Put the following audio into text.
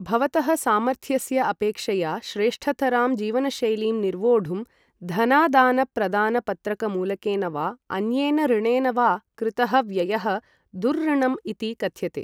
भवतः सामर्थ्यस्य अपेक्षया श्रेष्ठतरां जीवनशैलीं निर्वोढुं धनादानप्रदानपत्रकमूलकेन वा अन्येन ऋणेन वा कृतः व्ययः दुर्ऋणं इति कथ्यते।